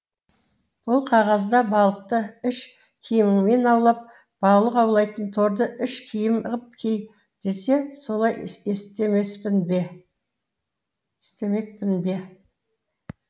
бұл қағазда балықты іш киіміңмен аулап балық аулайтын торды іш киім қып ки десе солай істемеспін бе істемекпін бе